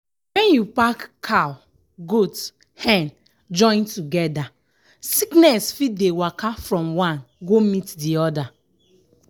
when you pack cow goat hen join together sickness fit dey waka from one go meet the other